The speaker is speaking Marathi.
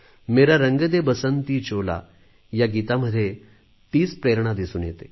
मेरा रंग दे बसंती चोला या गीतामध्ये तीच प्रेरणा दिसून येते